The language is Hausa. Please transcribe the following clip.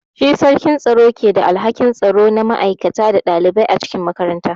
Shi sarkin tsaro ke da alhakin tsaro na ma'aikata da ɗalibai a cikin makaranta.